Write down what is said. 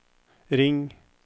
ring